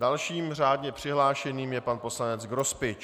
Dalším řádně přihlášeným je pan poslanec Grospič.